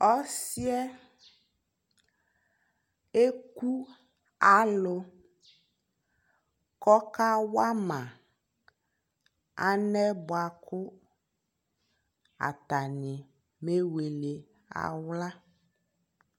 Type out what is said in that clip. ɔsiiɛ ɛkʋ alʋ kʋ alʋ kʋ ɔka wana alɛ bakʋ atani bɛ wɛlɛ ala